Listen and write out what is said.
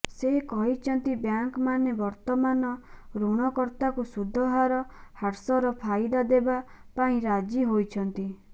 ସେ କହିଛନ୍ତି ବ୍ୟାଙ୍କମାନେ ବର୍ତ୍ତମାନ ଋଣ କର୍ତ୍ତାଙ୍କୁ ସୁଧ ହାର ହ୍ରାସର ଫାଇଦା ଦେବା ପାଇଁ ରାଜି ହୋଇଛନ୍ତି